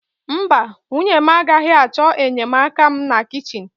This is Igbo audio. Mba, nwunye m agaghị achọ enyemaka m na kichin.